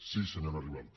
sí senyora ribalta